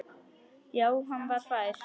Já, hann var fær!